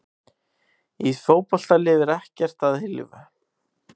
Í fótbolta lifir ekkert að eilífu.